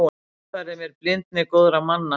Notfærði mér blindni góðra manna.